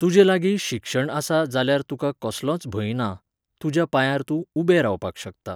तुजेलागीं शिक्षण आसा जाल्यार तुका कसलोच भंय ना, तुज्या पांयार तूं उबें रावपाक शकता